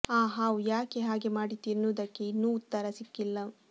ಆ ಹಾವು ಯಾಕೆ ಹಾಗೇ ಮಾಡಿತು ಎನ್ನುವುದಕ್ಕೆ ಇನ್ನೂ ಉತ್ತರ ಸಿಕ್ಕಿಲ್ಲ